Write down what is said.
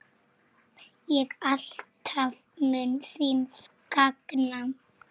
ég alltaf mun þín sakna.